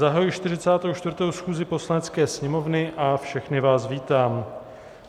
Zahajuji 44. schůzi Poslanecké sněmovny a všechny vás vítám.